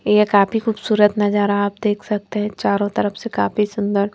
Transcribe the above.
ये काफी खूबसूरत नजारा आप देख सकते हैं चारों तरफ से काफी सुंदर--